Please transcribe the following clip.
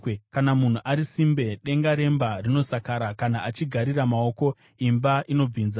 Kana munhu ari simbe, denga remba rinosakara; kana achigarira maoko, imba inobvinza.